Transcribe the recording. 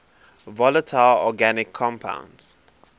volatile organic compounds